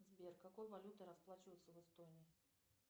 сбер какой валютой расплачиваться в эстонии